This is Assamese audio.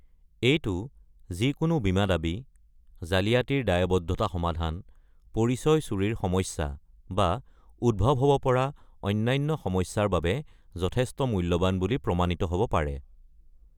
এইটো যিকোনো বীমা দাবী, জালিয়াতিৰ দায়বদ্ধতা সমাধান, পৰিচয় চুৰিৰ সমস্যা, বা উদ্ভৱ হ'ব পৰা অন্যান্য সমস্যাৰ বাবে যথেষ্ট মূল্যৱান বুলি প্ৰমাণিত হ'ব পাৰে।